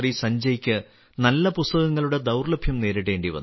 സഞ്ജയ്ക്ക് നല്ല പുസ്തകങ്ങളുടെ ദൌർലഭ്യം നേരിടേണ്ടി വന്നു